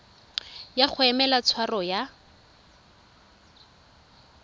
ya go emela tshwaro ya